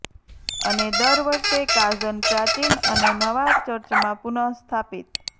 અને દર વર્ષે કાઝન પ્રાચીન અને નવા ચર્ચમાં પુનઃસ્થાપિત